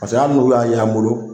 Paseke hali n'u y'a y'an bolo